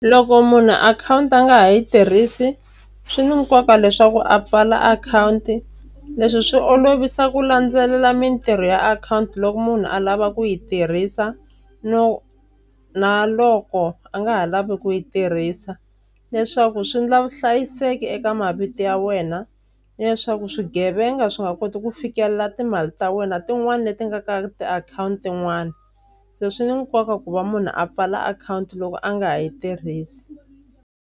Loko munhu akhawunti a nga ha yi tirhisi swi ni nkoka leswaku a pfala akhawunti, leswi swi olovisa ku landzelela mintirho ya akhawunti loko munhu a lava ku yi tirhisa no na loko a nga ha lavi ku yi tirhisa, leswaku swi endla vuhlayiseki eka mavito ya wena ni leswaku swigevenga swi nga koti ku fikelela timali ta wena tin'wani leti nga ka tiakhawunti tin'wani. Se swi ni nkoka ku va munhu a pfala akhawunti loko a nga ha yi tirhisi.